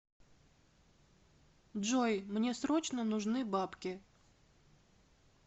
джой мне срочно нужны бабки